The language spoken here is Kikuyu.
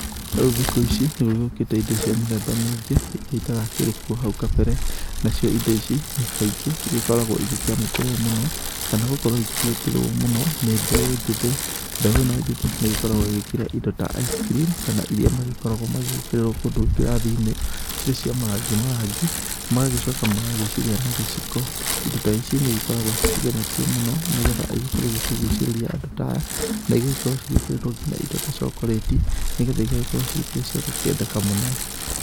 Rĩu thikũ ici nĩ gũgĩũkĩte indo cia mĩthemba mĩingĩ irĩa itarakĩrĩ kuo hau kabere. Nacio indo ici kaingĩ cigĩkoragwo igĩkĩamũkĩrwo mũno kana gũkorwo ikĩenderwo mũno nĩ mbeũ njĩthĩ. Mbeũ ĩno njĩthĩ nĩ ĩgĩkoragwo ĩgĩkĩrĩa indo ta ice cream kana iria magĩkoragwo magĩkĩrĩrwo kũndũ ngirathi-inĩ, cirĩ cia marangi marangi, magagĩcoka magagĩcirĩa na gĩciko. Indo ta ici nĩ igĩkoragwo cikĩgemetio mũno, nĩgetha igĩkorwo igĩkĩgucĩrĩria andũ ta aya. na igagĩkorwo cigĩkĩrĩtwo nginya indo ta cokorĩti, nĩgetha igagĩkorwo cikĩrĩ cia gũkĩendeka mũno.